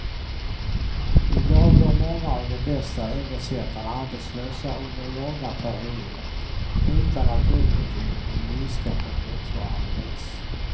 I dag går många av de bästa översättarna arbetslösa under långa perioder, utan att bokutgivningen minskar på motsvarande vis.